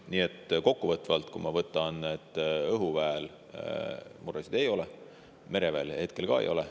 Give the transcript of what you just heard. Nii et kokkuvõtvalt: õhuväel muresid ei ole, mereväel hetkel ka ei ole.